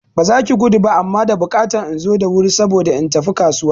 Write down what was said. Ba zaki gudu ba amma da bukatan inzo da wuri saboda in tafi kasuwa